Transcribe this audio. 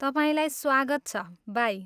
तपाईँलाई स्वागत छ। बाई!